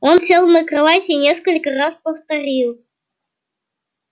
он сел на кровать и несколько раз повторил